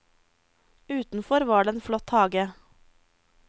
Utenfor var det en flott hage.